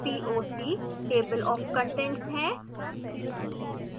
toc table of contents है